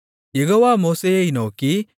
யெகோவா மோசேயை நோக்கி